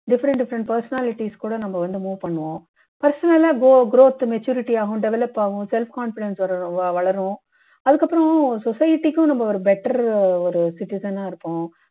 different different personalities கூட நம்ம வந்து move பண்ணுவோம் personal ஆ கோ growth maturity ஆகும் develop ஆவோம் self-confidence வரு வளரும் அதுக்கப்பறம் society க்கு நம்ம ஒரு better ஒரு citizen ஆ இருப்போம்